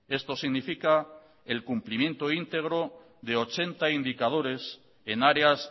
esto significa el cumplimiento íntegro de ochenta indicadores en áreas